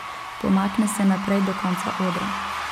Pomakne se naprej do konca odra.